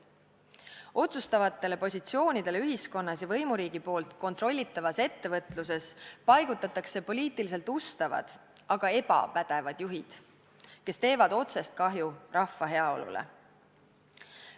Otsustavatele positsioonidele ühiskonnas ja võimuriigi kontrollitavas ettevõtluses paigutatakse poliitiliselt ustavad, aga ebapädevad juhid, kes teevad otsest kahju rahva heaolule.